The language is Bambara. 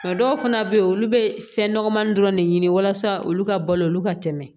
A dɔw fana bɛ yen olu bɛ fɛn nɔgɔmani dɔrɔn de ɲini walasa olu ka balo olu ka tɛmɛ